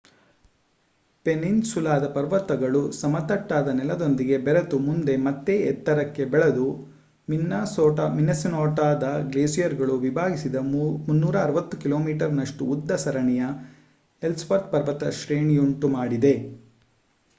ಪೆನ್ನಿನ್‌ಸುಲಾದ ಪರ್ವತಗಳು ಸಮತಟ್ಟಾದ ನೆಲದೊಂದಿಗೆ ಬೆರೆತು ಮುಂದೆ ಮತ್ತೆ ಎತ್ತರಕ್ಕೆ ಬೆಳೆದು ಮಿನ್ನಸೋಟಾದ ಗ್ಲೇಸಿಯರ್‌ಗಳು ವಿಭಾಗಿಸಿದ 360 ಕಿಮೀನಷ್ಟು ಉದ್ದದ ಸರಣಿಯ ಎಲ್ಸ್‌ವರ್ಥ್ ಪರ್ವತ ಶ್ರೇಣಿಯುಂಟು ಮಾಡಿದೆ